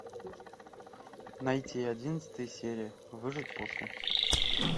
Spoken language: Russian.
найти одиннадцатая серия выжить после